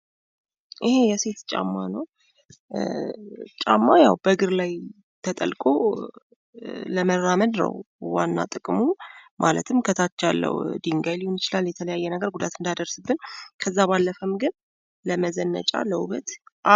ይሄ የሴት ጫማ ነዉ። ጫማ ያዉ በእግር ላይ ተጠልቆ ለመራመድ ነዉ ዋና ጥቅሙ። ማለትም ከታች ያለዉ ድንጋይ ጉዳት እንዳያደርስብን።